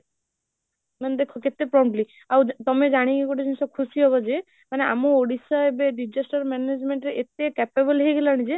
ମାନେ ଦେଖ କେତେ promptly ଆଉ ତମେ ଜାଣିକି ଗୋଟେ ଜିନିଷ ଖୁସି ହନବ ଯେ, ମାନେ ଆମ ଓଡ଼ିଶା ଏବେ disaster management ରେ ଏତେ capable ହେଇ ଗଲାଣି ଯେ